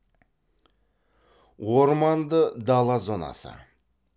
орманды дала зонасы